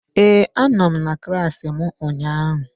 Ee, anọ m na klassị mụ ụnyaahụ.